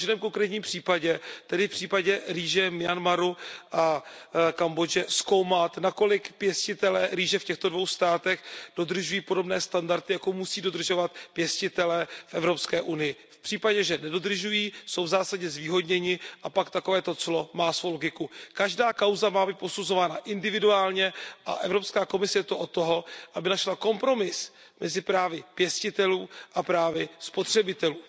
A v každém konkrétním případě, tedy v případě rýže z Myanmaru a Kambodže, zkoumat, nakolik pěstitelé rýže v těchto dvou státech dodržují podobné standardy, jako musí dodržovat pěstitelé v Evropské unii. V případě, že nedodržují, jsou v zásadě zvýhodněni, a pak takovéto clo má svou logiku. Každá kauza má být posuzována individuálně a Evropská komise je zde od toho, aby našla kompromis mezi právy pěstitelů a právy spotřebitelů.